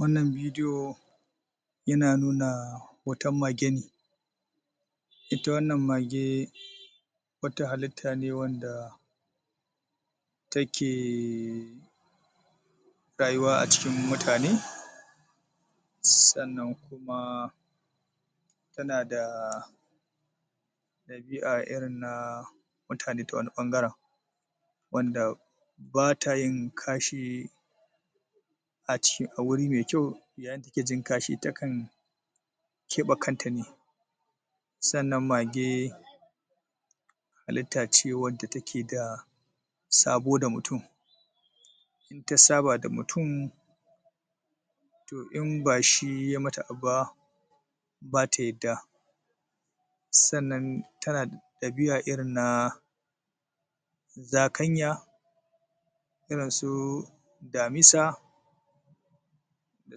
wannan bidiyo yana nuna wata mage ne ita wannan mage wata hallita ne wadda take rayuwa a cikin mutane sannan kuma tana da dabi'a irin na mutane ta wani bangare wanda bata yin kashi a guri mai kyau yayin da take jin kashi takan kebe kanta sannan mage hallita ce wadda take da sabo da mutum in ta saba da mutum to in bashi ya mata abu ba bata yadda sannan tana da dabi'a irin na zakanya irin su damisa da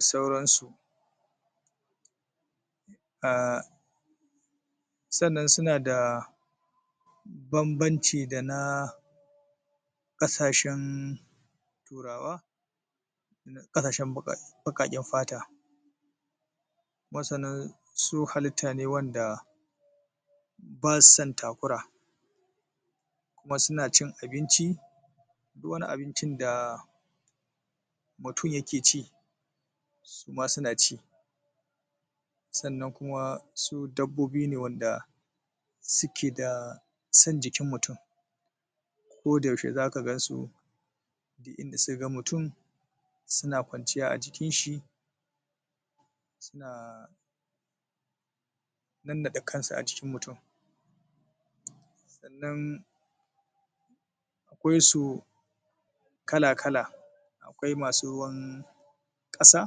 sauransu ah sannan suna da banbanci dana kashashen turawa dana kasashen bakin fata kuma sannan su hallita ne wanda basu san takura kuma suna cin abinci duk wani abincin da mutum ya ke ci suma suna ci sannan kuma su dabbobi ne wanda suke da son jikin mutum ko da yaushe zaka gansu duk inda suka ga mutum suna kwanciya ajikinshi suna nannade kansu ajikin mutum sannan akwaisu kala kala akwai masu ruwan kasa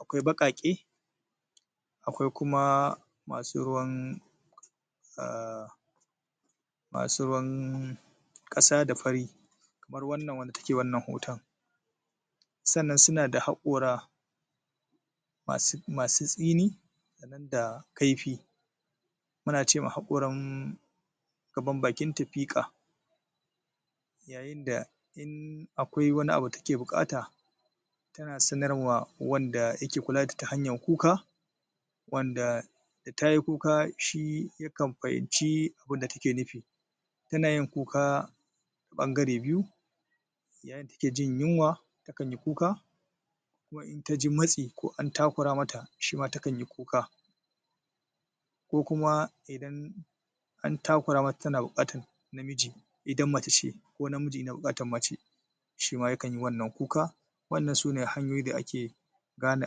akwai bakake akwai kuma masu ruwan masu ruwan kasa da fari kamar wannan wanda take hoton sannan suna da haqora masu tsini sannan da kaifi ana cewa haqora gaban bakin ta fika yayinda in a kwai wani abu da take bukata tana sanarwa wanda yake kula da ita ta hanyan kuka wanda da tayi kuka ya kan fahimci abunda take nufi tanayin kuka bangare biyu yayin da take jin yunwa tana yin kuka intaji matsi ko an takura mata takan yi kuka ko kuma idan an takura mata tana bukatar na miji idan mace ne ko na miji yana bukatar mace shima yakan yi kuka wannan sune hanyoyi da ake gane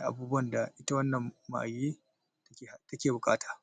abubuwan da ita wannan mage take bukata